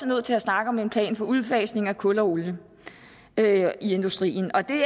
nødt til at snakke om en plan for udfasning af kul og olie i industrien og det